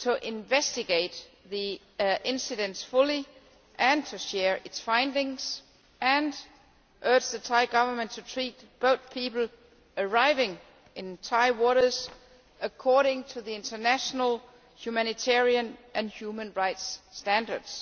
to investigate the incidents fully, and to share its findings, and urged the Thai Government to treat boat people arriving in Thai waters according to international humanitarian and human rights standards.